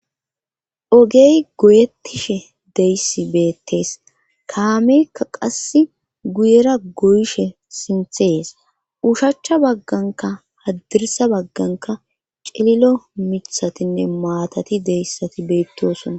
Ogey goyettishe deyssi beettees kaamekka qasse guyera goyishe sinthees ushachcha bagganka haddirsa bagganka cililo mithatinne maatati deyssati beettiosonna.